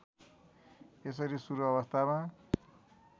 यसरी सुरू अवस्थामा